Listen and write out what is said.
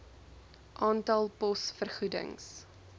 aantal pos vergoedings